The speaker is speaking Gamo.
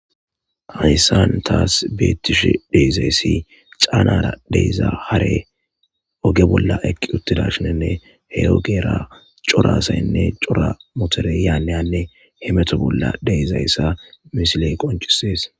Ahyssan taas beettishe deizayssi caanara deyza hare oge bolla eqqi uttida shinenne he ogera corasaynne cora motoreyaaeyanne hemeto bolla deezayssa misiley qoncisees.